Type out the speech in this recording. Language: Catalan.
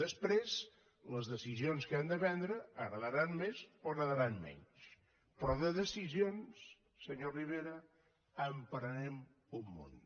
després les decisions que hem de prendre agradaran més o agradaran menys però de deci sions senyor rivera en prenem un munt